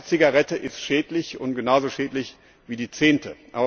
Die erste Zigarette ist schädlich, genauso schädlich wie die zehnte.